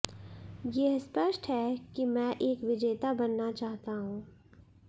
यह स्पष्ट है कि मैं एक विजेता बनना चाहता हूं